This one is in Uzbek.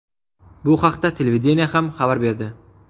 Bu haqda televideniye ham xabar berdi.